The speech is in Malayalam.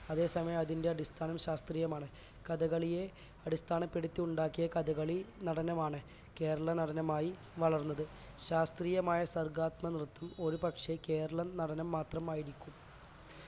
അതേ സമയം അതിന്റെ അടിസ്ഥാനം ശാസ്ത്രീയമാണ് കഥകളിയെ അടിസ്ഥാനപ്പെടുത്തി ഉണ്ടാക്കിയ കഥകളി നടനമാണ് കേരളനടനമായി വളർന്നത് ശാസ്ത്രീയമായ സർഗ്ഗാത്മക നൃത്തം ഒരു പക്ഷേ കേരള നടനം മാത്രമായിരിക്കും